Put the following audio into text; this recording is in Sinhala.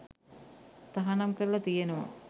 තහනම් කරලා තියෙනවා.